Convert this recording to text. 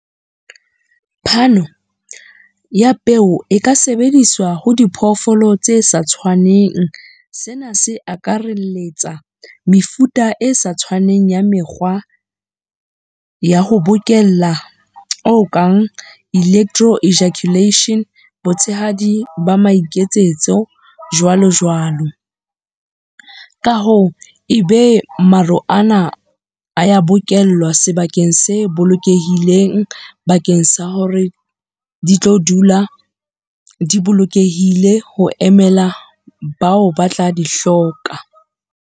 Phano ya peo e ka sebediswa ho diphoofolo tse sa tshwaneng. Sena se akaraletsa mefuta e sa tshwaneng ya mekgwa ya ho bokella o kang, Elektro Ejaculation, botshehadi ba maiketsetso jwalo jwalo. Ka hoo e be maro ana a ya bokellwa sebakeng se bolokehileng, bakeng sa hore di tlo dula di bolokehile ho emela bao ba tla di hloka.